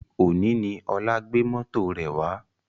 Òní ni Ọlá gbé mọ́tò rẹ̀ wá